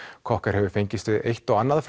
cocker hefur fengist við eitt og annað